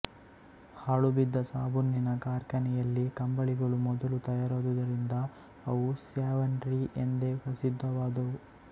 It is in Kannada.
ಹಾಳುಬಿದ್ದ ಸಾಬೂನಿನ ಕಾರ್ಖಾನೆಯಲ್ಲಿ ಕಂಬಳಿಗಳು ಮೊದಲು ತಯಾರಾದುದರಿಂದ ಅವು ಸ್ಯಾವಾನ್ರೀ ಎಂದೇ ಪ್ರಸಿದ್ಧವಾದುವು